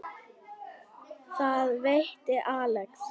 Þar veitti Axel